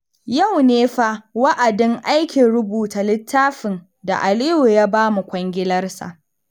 Yau ne fa wa'adin aikin rubuta littafin da Aliyu ya ba mu kwangilarsa.